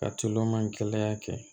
Ka tulo ma in kɛlɛ kɛ